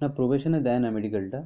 না provation এ দেয় না medical টা।